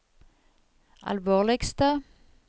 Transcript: alvorligste